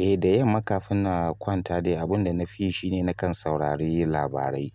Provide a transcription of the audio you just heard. Eh da yamma kafin na kwanta dai abun na fi yi shine, nakan saurari labarai.